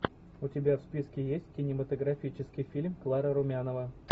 у тебя в списке есть кинематографический фильм клара румянова